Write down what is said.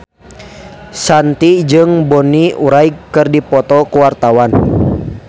Shanti jeung Bonnie Wright keur dipoto ku wartawan